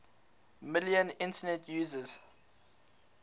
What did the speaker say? million internet users